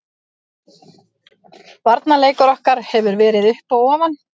Varnarleikur okkar hefur verið upp og ofan.